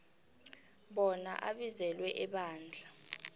bona abizelwe ebandla